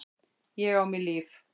Ég á mér líf.